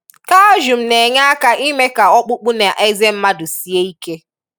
Kalshum na-enye aka ime ka ọkpụkpụ na eze mmadị sie ike.